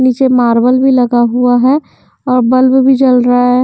नीचे मार्बल भी लगा हुआ है और बल्ब भी जल रहा है .